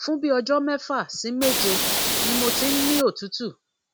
fun bi ọjọ mẹfà sí méje ní mo ti ń ni otutu